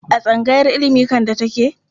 A tsangayar ilimi Kande take.